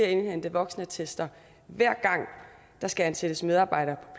indhente voksenattest hver gang der skal ansættes medarbejdere